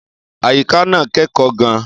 Àyíká náà kẹ́kọ̀ọ́ gan-an.